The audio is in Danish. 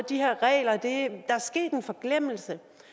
de her regler er sket en forglemmelse